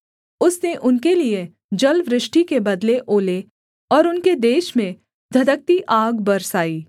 उसने उनके लिये जलवृष्टि के बदले ओले और उनके देश में धधकती आग बरसाई